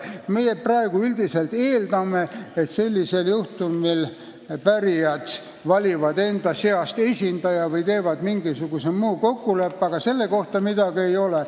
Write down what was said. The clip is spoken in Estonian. Meie praegu üldiselt eeldame, et sellisel juhtumil pärijad valivad enda seast esindaja või teevad mingisuguse muu kokkuleppe, aga seaduses selle kohta midagi ei ole.